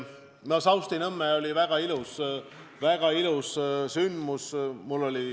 Saustinõmmel oli väga ilus sündmus.